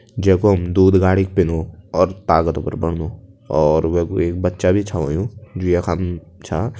जेकु हम दूध गाड़ीक पीनू और ताकत भर बणदूँ और वेकु एक बच्चा भी छौ हुयुं जो यखम छा।